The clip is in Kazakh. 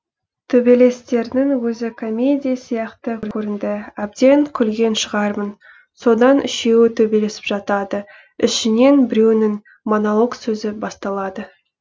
төбелестерінің өзі комедия сияқты көрінді әбден күлген шығармын содан үшеуі төбелесіп жатады ішінен біреуінің монолог сөзі басталады